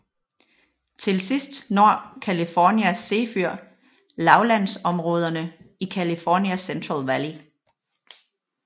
Til sidst når California Zephyr lavlandsområderne i California Central Valley